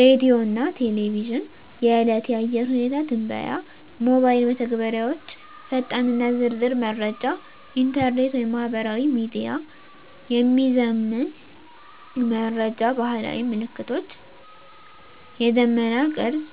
ሬዲዮና ቴሌቪዥን – የዕለት የአየር ሁኔታ ትንበያ ሞባይል መተግበሪያዎች ፈጣንና ዝርዝር መረጃ ኢንተርኔት/ማህበራዊ ሚዲያ – የሚዘመን መረጃ ባህላዊ ምልክቶች – የደመና ቅርጽ፣